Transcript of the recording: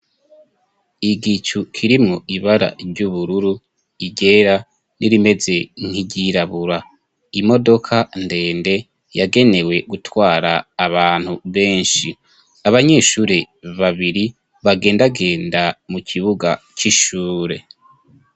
Igicu kirimwo ibara ry'ubururu, iryera rimeze nk'iryirabura. Imodoka ndende yagenewe gutwara abantu benshi. Abanyeshuri babiri bagendagenda mu kibuga c'ishure.